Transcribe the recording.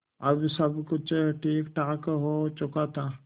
अब सब कुछ ठीकठाक हो चुका था